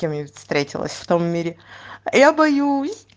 с кем я встретилась в том мире я боюсь